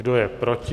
Kdo je proti?